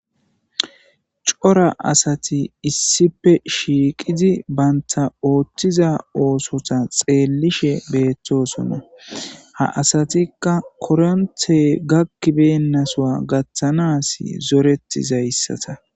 cora asati issipe shiiqidi baynta ooththiza oosota xeellishe beettosona ha asatikka koronthe gakkibeenasoa gatthanaas zoretizayssata